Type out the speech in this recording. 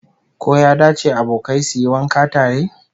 Ko ya dace abokai su yi wanka tare?